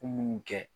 Ko munnu kɛ